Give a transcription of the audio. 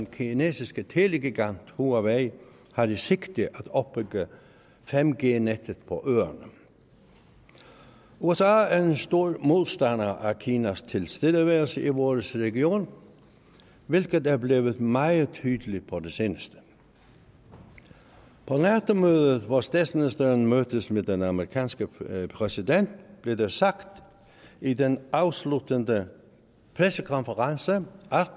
kinesiske telegigant huawei har i sigte at opbygge 5g nettet på øerne usa er er stor modstander af kinas tilstedeværelse i vores region hvilket er blevet meget tydeligt på det seneste på nato mødet hvor statsministeren mødtes med den amerikanske præsident blev der sagt i den afsluttende pressekonference at